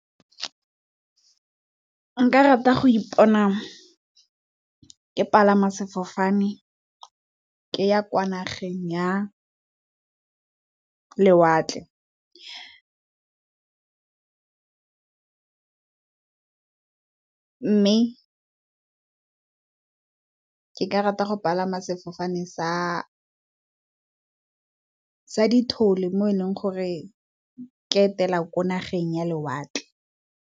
Nka rata go ipona ke palama sefofane ke ya kwa nageng ya lewatle mme, ke ka rata go palama sefofane sa dithole mo e leng gore ke etela ko nageng ya lewatle.